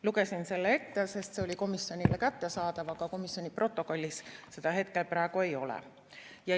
" Lugesin selle ette, sest see oli komisjonile kättesaadav, aga komisjoni protokollis seda praegu ei ole.